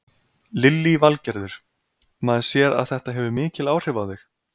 Lillý Valgerður: Maður sér að þetta hefur mikil áhrif á þig?